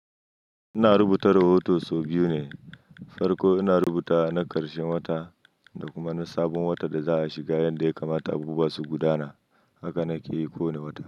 Ina rubuta rahoton sau biyu ne, farko ina rubuta na ƙarshen wata da kuma na sabon wata da za a shiga yanda ya kamata abubuwa su gudana. Haka na ke yi kowane wata.